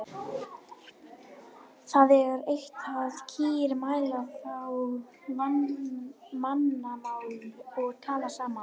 Það er eitt að kýr mæla þá mannamál og tala saman.